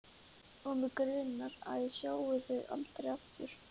Og mig grunar að ég sjái þau aldrei aftur.